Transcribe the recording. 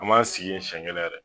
A b'an sigi yen siyɛn kelen yɛrɛ dɛ.